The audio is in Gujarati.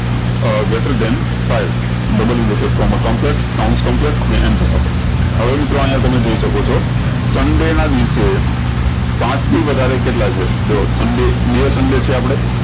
આ greter than five ને હવે મિત્રો અયીયા તમે જોઈ શકો છો સંડે ના દિવસે પાંચ થી વધારે કેટલા છે જો સંડે બે સંડે છે આપળે